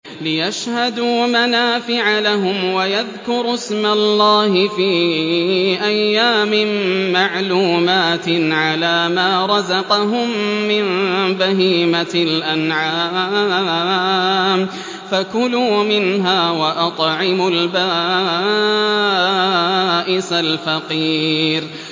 لِّيَشْهَدُوا مَنَافِعَ لَهُمْ وَيَذْكُرُوا اسْمَ اللَّهِ فِي أَيَّامٍ مَّعْلُومَاتٍ عَلَىٰ مَا رَزَقَهُم مِّن بَهِيمَةِ الْأَنْعَامِ ۖ فَكُلُوا مِنْهَا وَأَطْعِمُوا الْبَائِسَ الْفَقِيرَ